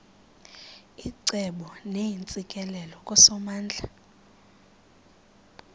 icebo neentsikelelo kusomandla